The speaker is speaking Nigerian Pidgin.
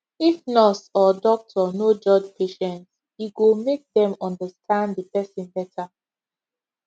if nurse or doctor no judge patient e go make dem understand the person better